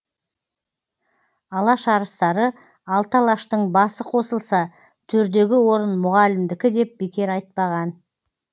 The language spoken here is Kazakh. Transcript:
алаш арыстары алты алаштың басы қосылса төрдегі орын мұғалімдікі деп бекер айтпаған